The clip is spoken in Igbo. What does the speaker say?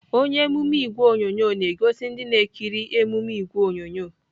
Onye emume ìgwè onyonyo na-egosi ndị na-ekiri emume ìgwè onyonyo